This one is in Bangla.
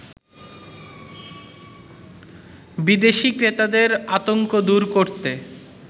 বিদেশী ক্রেতাদের আতংক দুর করতে